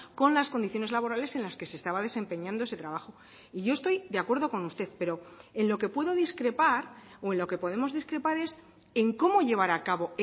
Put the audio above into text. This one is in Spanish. con las condiciones laborales en las que se estaba desempeñando ese trabajo y yo estoy de acuerdo con usted pero en lo que puedo discrepar o en lo que podemos discrepar es en cómo llevar acabo